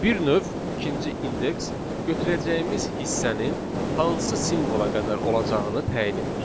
Bir növ ikinci indeks götürəcəyimiz hissənin hansı simvola qədər olacağını təyin edir.